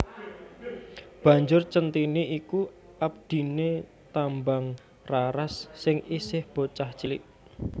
Banjur Centhini iku abdiné Tambangraras sing isih bocah cilik